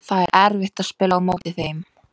Það er erfitt að spila á móti þeim.